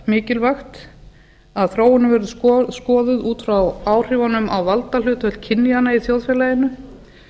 mikilvægt að þróunin verði skoðuð út frá áhrifunum á valdahlutföll kynjanna í þjóðfélaginu